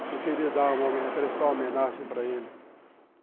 Você queria prestar uma homenagem para ele.